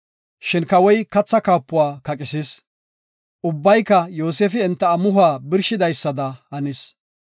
Shin Kawoy kathaa kaapuwa kaqisis. Ubbayka Yoosefi enta amuhuwa birshidaysada hanis.